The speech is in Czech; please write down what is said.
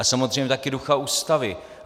A samozřejmě také ducha Ústavy.